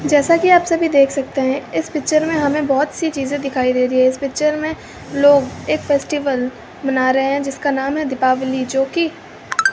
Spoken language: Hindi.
जैसा कि आप सभी देख सकते हैं इस पिक्चर में हमें बहोत सी चीजे दिखाई दे रही है इस पिक्चर में लोग एक फेस्टिवल मना रहे हैं जिसका नाम है दीपावली जोकि --